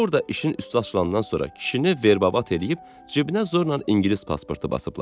Orda işin üstü açilandan sonra kişini verbabat eləyib cibinə zorla ingilis pasportu basıblar.